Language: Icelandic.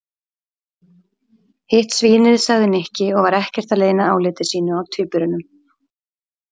Hitt svínið sagði Nikki og var ekkert að leyna áliti sínu á tvíburunum.